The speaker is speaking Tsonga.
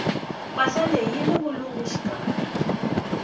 mpahla leyi yini vulungu xikarhi